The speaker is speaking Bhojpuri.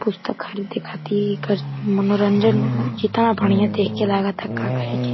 पुस्तक खरीदे खाति एकर मनोरंजन केता बढ़ियां देख के लागता का कहे के।